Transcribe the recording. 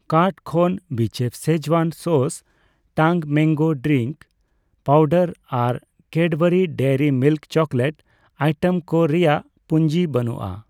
Cart ᱠᱷᱚᱱ ᱵᱤᱪᱮᱯᱷ schezwan sauce, Tang mango drink powder ᱟᱨ Cadbury Dairy Milk chocolate item ᱠᱚ ᱨᱮᱭᱟᱜ ᱯᱩᱧᱡᱤ ᱵᱟᱹᱱᱩᱜᱼᱟ ᱾